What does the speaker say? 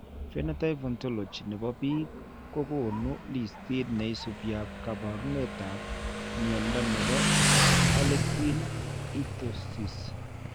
Phenotype Ontology ne po biik ko konu listiit ne isubiap kaabarunetap mnyando ne po Harlequin ichthyosis.